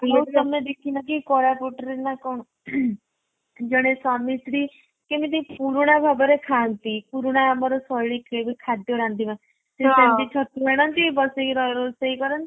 ତମେ ଦେଖିନା କେଆଇ କୋରାପୁଟରେ ନା କ'ଣ ଜଣେ ସ୍ଵାମୀ ସ୍ତ୍ରୀ କେମିତି ପୁରୁଣା ଭାବରେ ଖାନ୍ତି। ପୁରୁଣା ଆମର ଶୈଳୀରେ ବି ଖାଦ୍ଯ ରାନ୍ଧିବା। ଛତୁ ଆଣନ୍ତି ବସିକି ରୋଷେଇ କରନ୍ତି।